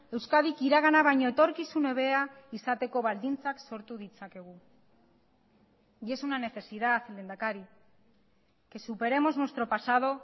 euskadik iragana baino etorkizun hobea izateko baldintzak sortu ditzakegu y es una necesidad lehendakari que superemos nuestro pasado